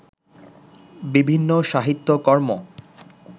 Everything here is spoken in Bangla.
বিভিন্ন সাহিত্যকর্ম